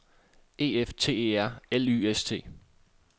E F T E R L Y S T